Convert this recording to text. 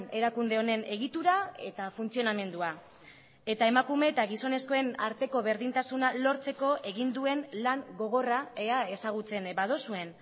erakunde honen egitura eta funtzionamendua eta emakume eta gizonezkoen arteko berdintasuna lortzeko egin duen lan gogorra ea ezagutzen baduzuen